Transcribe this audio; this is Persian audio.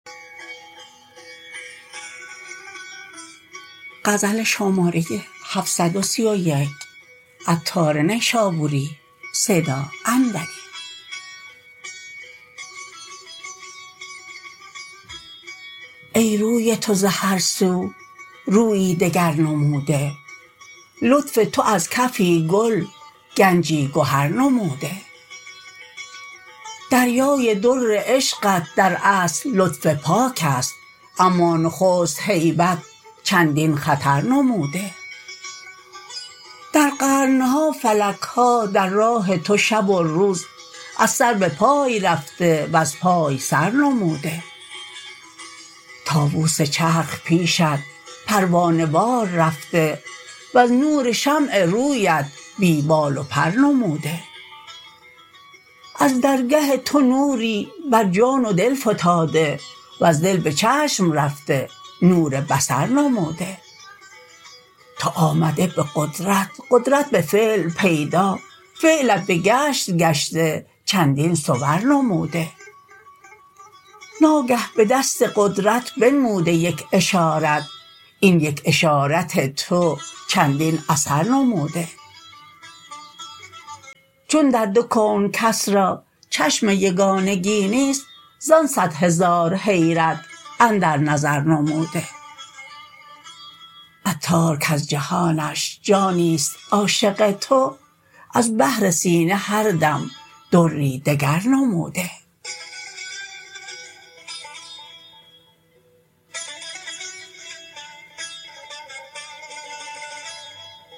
ای روی تو زهر سو رویی دگر نموده لطف تو از کفی گل گنجی گهر نموده دریای در عشقت در اصل لطف پاک است اما نخست هیبت چندین خطر نموده در قرن ها فلک ها در راه تو شب و روز از سر به پای رفته وز پای سر نموده طاوس چرخ پیشت پروانه وار رفته وز نور شمع رویت بی بال و پر نموده از درگه تو نوری بر جان و دل فتاده وز دل به چشم رفته نور بصر نموده تو آمده به قدرت و قدرت به فعل پیدا فعلت به گشت گشته چندین صور نموده ناگه به دست قدرت بنموده یک اشارت این یک اشارت تو چندین اثر نموده چون در دو کون کس را چشم یگانگی نیست زان صد هزار حیرت اندر نظر نموده عطار کز جهانش جانی است عاشق تو از بحر سینه هر دم دری دگر نموده